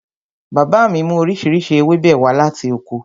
Bàbá mi mú oríṣiríṣi ewébẹ̀ wá láti oko